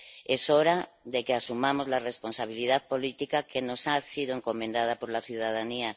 Es hora de que asumamos la responsabilidad política que nos ha sido encomendada por la ciudadanía.